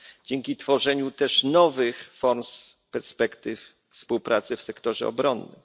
dzięki tworzeniu też nowych form i perspektyw współpracy w sektorze obronnym.